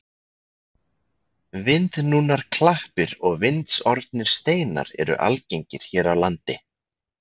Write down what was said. Vindnúnar klappir og vindsorfnir steinar eru algengir hér á landi.